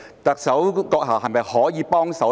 特首閣下是否可以幫忙呢？